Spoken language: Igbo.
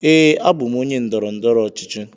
Ee, abụ m onye ndọrọ ndọrọ ọchịchị.